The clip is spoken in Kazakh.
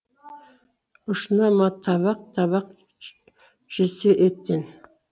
ұшына ма табақ табақ жесе еттен